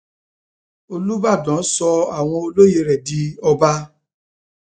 olùbàdàn sọ àwọn olóyè rẹ di ọba